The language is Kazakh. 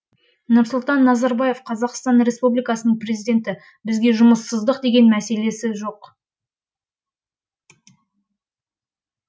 нұрсұлтан назарбаев қазақстан республикасының президенті бізде жұмыссыздық деген мәселе жоқ